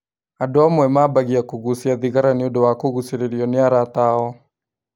Andũ amwe mabagia kũgucia thigara nĩũndũ wa kũgucĩrĩrio nĩ arata ao